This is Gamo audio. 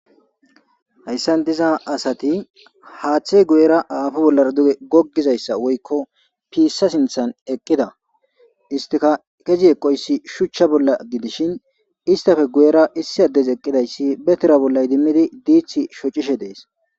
Hayssan diza asati haaththey guyera aafu bollar duge goggizayssa woykko piissa sinthan eqqida istika kezi eqoyssi shuchcha bolla gidishin istafe guyera issi addes eqqidayssi betera bolla idimmidi diithi shocishe dees.